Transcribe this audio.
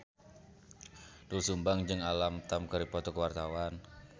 Doel Sumbang jeung Alam Tam keur dipoto ku wartawan